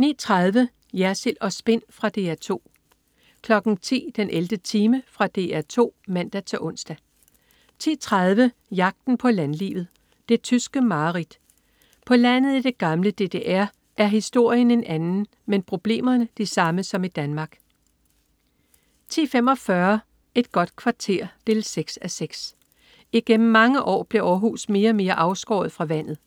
09.30 Jersild & Spin. Fra DR 2 10.00 den 11. time. Fra DR 2 (man-ons) 10.30 Jagten på landlivet. Det tyske mareridt. På landet i det gamle DDR er historien en anden, men problemerne de samme som i Danmark 10.45 Et godt kvarter 6:6. Igennem mange år blev Århus mere og mere afskåret fra vandet